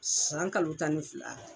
San kalo tan ni fila